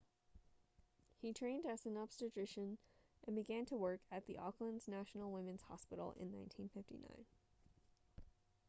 he trained as an obstetrician and began to work at the auckland's national women's hospital in 1959